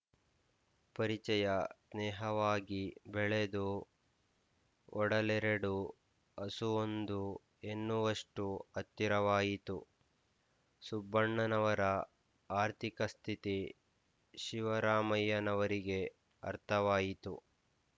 ಪರಿಚಯ ಸ್ನೇಹವಾಗಿ ಬೆಳೆದು ಒಡಲೆರಡು ಅಸುವೊಂದು ಎನ್ನುವಷ್ಟು ಹತ್ತಿರವಾಯಿತು ಸುಬ್ಬಣ್ಣನವರ ಆರ್ಥಿಕಸ್ಥಿತಿ ಶಿವರಾಮಯ್ಯನವರಿಗೆ ಅರ್ಥವಾಯಿತು